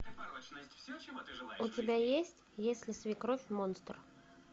у тебя есть если свекровь монстр